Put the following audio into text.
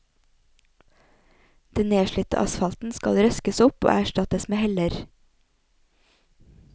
Den nedslitte asfalten skal røskes opp og erstattes med heller.